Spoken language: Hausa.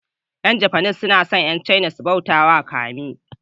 Yan japanese suna son Yan caina su bautawa kami.